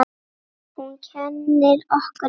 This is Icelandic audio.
Hún kennir okkur mikið.